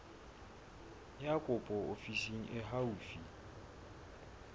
ya kopo ofising e haufi